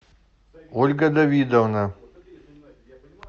ольга давидовна